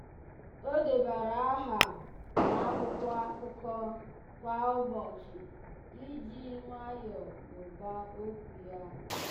ọ́ débara áhà n’ákwụ́kwọ́ ákụ́kọ́ ákụ́kọ́ kwa ụ́bọ̀chị̀ iji jì nwayọ́ọ́ mụ́ba okwu ya.